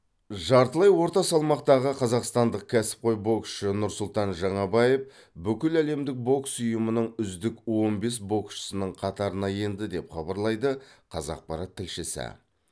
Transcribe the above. жартылай орта салмақтағы қазақстандық кәсіпқой боксшы нұрсұлтан жаңабаев бүкіләлемдік бокс ұйымының үздік он бес боксшысының қатарына енді деп хабарлайды қазақпарат тілшісі